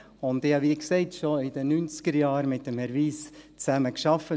Und ich habe – wie gesagt – schon in den 1990er-Jahren mit Herrn Wyss zusammengearbeitet;